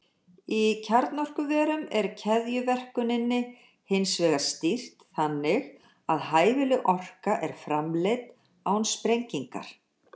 Í kjarnorkuverum er keðjuverkuninni hins vegar stýrt þannig að hæfileg orka er framleidd án sprengingar.